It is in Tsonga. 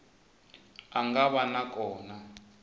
a nga va na kona